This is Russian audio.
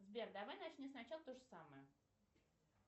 сбер давай начни сначала тоже самое